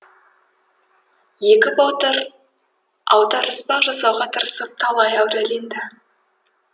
екі батыр аударыспақ жасауға тырысып талай әуреленді